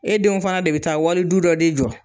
E denw fana de be taa wali du dɔ de jɔ.